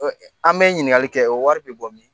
An bɛ ɲiningali kɛ, o wari bɛ bɔ min ?